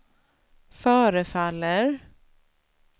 förefaller